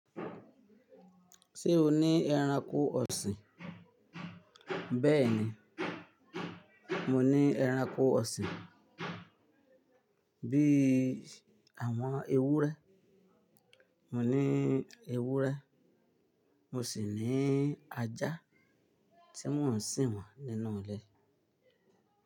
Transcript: Ṣé o ní ẹranko ọ̀sìn? Bẹ́ẹ̀ni, mo ní ẹranko ọ̀sìn bí i àwọn ewúrẹ́. Mo ní ewúrẹ́, mo sì ní ajá tí mò ń sìn wọ́n nínú ilé.